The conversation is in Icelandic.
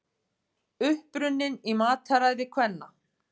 Uppruninn í mataræði kvenna